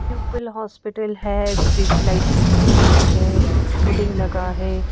प्यूपिल hospital है street light लगी हुई है एक होर्डिंग लगा है।